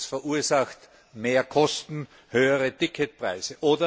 Das verursacht mehr Kosten und höhere Ticketpreise.